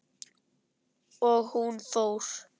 Og hún fór.